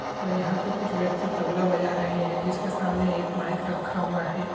ओर यहाँ पे कुछ व्यक्ति तबला बजा रहे हैं जिसके सामने एक माईक रखा हुआ हे।